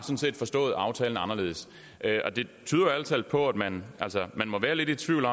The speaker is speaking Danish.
forstået aftalen anderledes det tyder ærlig talt på at man må være lidt i tvivl